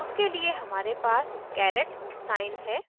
उसके लिए हमारे पास caret साइन है